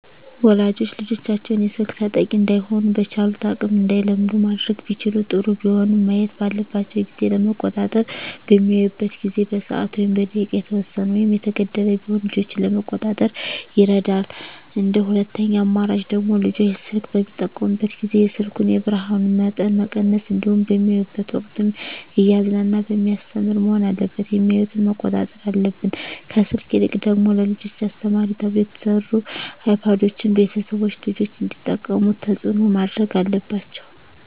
ወላጆች ልጆቻቸውን የስልክ ተጠቂ እዳይሆኑ በቻሉት አቅም እንዳይለምዱ ማድረግ ቢችሉ ጥሩ ቢሆንም ማየት ባለባቸው ጊዜ ለመቆጣጠር በሚያዩበት ጊዜ በሰዓት ወይም በደቂቃ የተወሰነ ወይም የተገደበ ቢሆን ልጆችን ለመቆጣጠር ይረዳል እንደ ሁለተኛ አማራጭ ደግሞ ልጆች ስልክ በሚጠቀሙበት ጊዜ የስልኩን የብርሀኑን መጠን መቀነስ እንዲሁም በሚያዩበት ወቅትም እያዝናና በሚያስተምር መሆን አለበት የሚያዮትን መቆጣጠር አለብን። ከስልክ ይልቅ ደግሞ ለልጆች አስተማሪ ተብለው የተሰሩ አይፓዶችን ቤተሰቦች ልጆች እንዲጠቀሙት ተፅዕኖ ማድረግ አለባቸው።